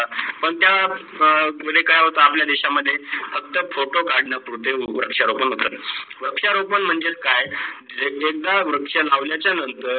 पण त्या मुडे काय होता, अं आपल्या देशा मध्ये फक्त फोटो काढणं पुरते असते. वृक्षा रोपण मध्ये, वृक्षा रोपण म्हणजे काय? जे काही वृक्ष लावण्याच नंतर